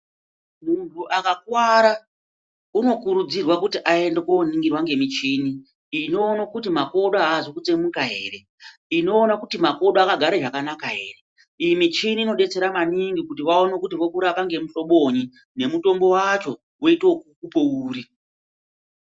Munhu akakuwara unokurudzirwa kuti aende koningirwa ngemichini inoonekwa kuti makodo azi kutsemuka ere, inoona kuti makodo akagare zvakanaka ere. Michini unobetsera maningi kuti vaone kuti vokurapa ngemuhlobonyi. Mutombo wacho voito okukupa uri.